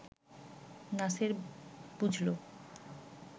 নাসের বুঝল